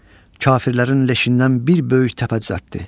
Kafirlərin leşindən bir böyük təpə düzəltdi.